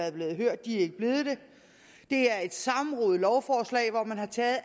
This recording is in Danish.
er blevet hørt det er et sammenrodet lovforslag hvor man har taget